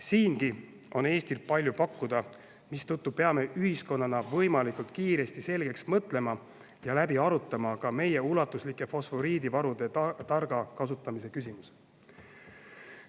Siingi on Eestil palju pakkuda, mistõttu peame ühiskonnana võimalikult kiiresti selgeks mõtlema ja läbi arutama ka meie ulatusliku fosforiidivaru targa kasutamise küsimuse.